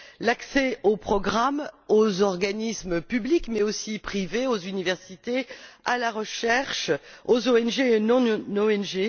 l'accès aux programmes aux organismes publics, mais aussi privés, aux universités, à la recherche, aux ONG et non ONG